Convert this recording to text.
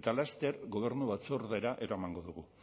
eta laster gobernu batzordera eramango dugu